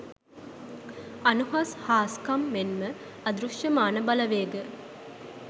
අනුහස් හාස්කම් මෙන්ම අදෘශ්‍යමාන බලවේග